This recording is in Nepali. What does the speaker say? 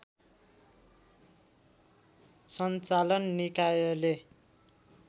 सञ्चालन निकायले